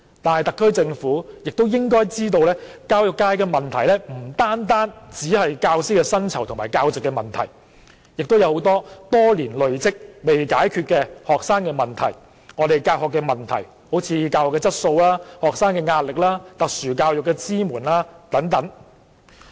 但特區政府應該知道，教育界的問題不單只是教師的薪酬和教席，很多多年累積的學生問題和教學問題仍有待解決，如教學質素、學生壓力、特殊教育的支援等。